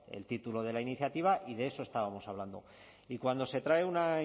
el título de la iniciativa y de eso estábamos hablando y cuando se trae una